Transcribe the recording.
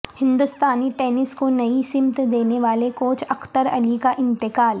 ہندوستانی ٹینس کو نئی سمت دینے والے کوچ اختر علی کا انتقال